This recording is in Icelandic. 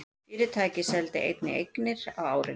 Fyrirtækið seldi einnig eignir á árinu